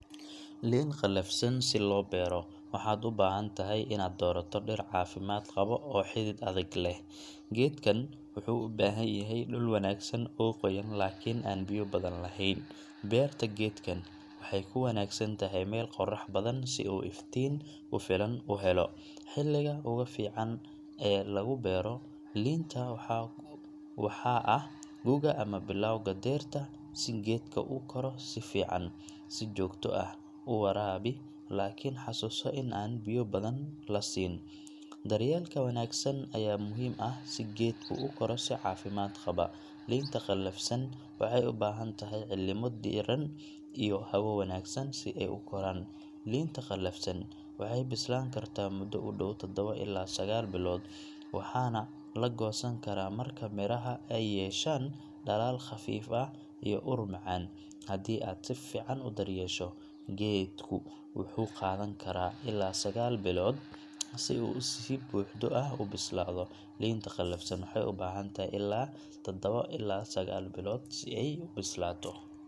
Liin qallafsan si loo beero, waxaad u baahan tahay inaad doorato dhir caafimaad qaba oo xidid adag leh. Geedkan wuxuu u baahan yahay dhul wanaagsan oo qoyan laakiin aan biyo badan lahayn. Beerta geedkan waxay ku wanaagsan tahay meel qorrax badan si uu iftiin ku filan u helo. Xilliga ugu fiican ee lagu beero liinta waxaa ah guga ama bilowga dayrta, si geedka uu u koro si fiican. Si joogto ah u waraabi, laakiin xasuuso in aan biyo badan la siin. Daryeelka wanaagsan ayaa muhiim ah si geedku u koro si caafimaad qaba. Liinta qallafsan waxay u baahan tahay cimilo diirran iyo hawo wanaagsan si ay u koraan. Liinta qallafsan waxay bislaan kartaa muddo ku dhow taddawo ilaa sagaal bilood, waxaana la goosan karaa marka midhaha ay yeeshaan dhalaal khafiif ah iyo ur macaan. Haddii aad si fiican u daryeesho, geedku wuxuu qaadan karaa ilaa sagaal bilood si uu si buuxda u bislaado. Liinta qallafsan waxay u baahan tahay ilaa taddawo ilaa sgaal bilood si ay u bislaato.